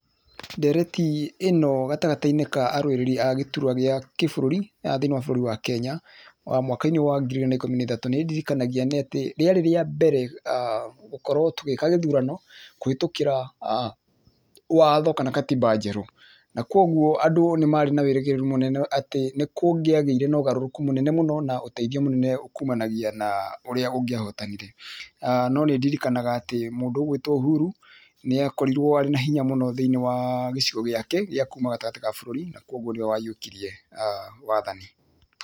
Ndereti ĩ no gatagatĩ ka arũĩrĩri a gĩturwa kĩa gĩbũrũri thĩiniĩ wa bũrũri wa Kenya mwaka-inĩ wa ngiri igĩrĩ na ikũmi na ithatũ nĩĩndĩrikanagia atĩ rĩarĩ rĩa mbere gũkorwo tũgĩka gĩthurano kũhĩtũkĩra watho kana gatiba njerũ, na kogwo andũ nĩ marĩ na wĩrĩgĩrĩru mũnene atĩ nĩkũngĩagĩire na ũgarũrũku mũnene na ũteithio mũnene kũmanagia na ũrĩa ũngĩahotanire. No nĩndirikanaga atĩ mũndũ ũgwĩtwo Uhuru nĩakorirwo arĩna hĩnya mũno thĩiniĩ wa gĩcigo gĩake gĩa kuuma gatagatĩ wa bũrũri na kogwo nĩwe wahiũkirie wathani.